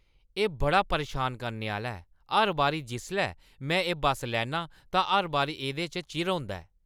एह् बड़ा परेशान करने आह्‌ला ऐ! हर बारी जिसलै में एह् बस्स लैन्नां, तां हर बारी एह्दे च चिर होंदा ऐ।